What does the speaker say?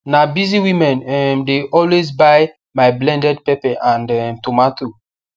na busy women um de always buy my blended pepe and um tomato